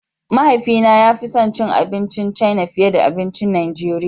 Mahaifina ya fi son abincin China fiye da abincin Najeriya.